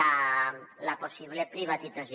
la possible privatització